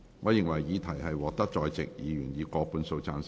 我認為議題獲得在席議員以過半數贊成。